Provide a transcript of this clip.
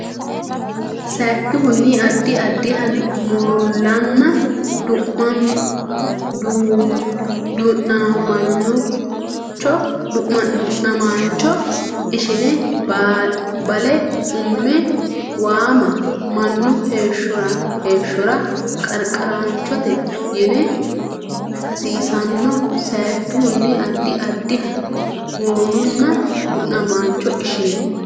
Sayikkihunni addi addiha moolanna du namaancho ishine bale umme waama Mannu heeshshora qararichooti yine hasiissanno Sayikkihunni addi addiha moolanna du namaancho ishine.